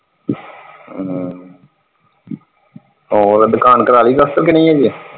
ਹਾਂ ਹੋਰ ਦੁਕਾਨ ਕੁਰਾਲੀ ਪਲਸਤਰ ਕੇ ਨਹੀਂ ਹਜੇ।